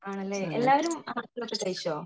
ആണല്ലേ എല്ലാരും ഭക്ഷണൊക്കെ കഴിച്ചോ